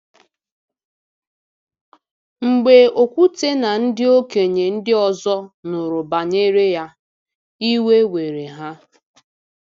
Mgbe Okwute na ndị okenye ndị ọzọ nụrụ banyere ya, iwe were ha.